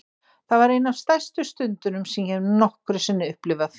Það var ein af stærstu stundunum sem ég hef nokkru sinni upplifað.